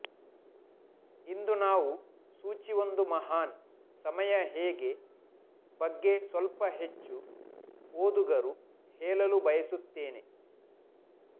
ಇಂದು ನಾವು ಸೋಚಿ ಒಂದು ಮಹಾನ್ ಸಮಯ ಹೇಗೆ ಬಗ್ಗೆ ಸ್ವಲ್ಪ ಹೆಚ್ಚು ಓದುಗರು ಹೇಳಲು ಬಯಸುತ್ತೇನೆ